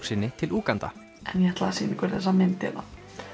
sinni til Úganda en ég ætlaði að sýna ykkur þessa mynd hérna